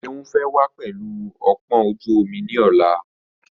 Seun fẹ́ wá pẹlu ọpọ́n ojú omi ni ọ̀la.